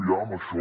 ja amb això